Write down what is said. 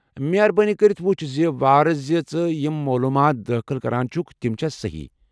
مہربٲنی کٔرتھ وٕچھ زِ وارٕ زِ ژٕ یم مولوُمات دٲخل كران چھٗكھ تِم چھِ سہی ۔